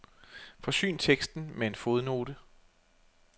Forsyn teksten med en fodnote.